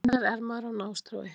Hvenær er maður á nástrái